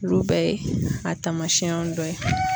Olu bɛɛ ye a taamasiyɛn dɔ ye.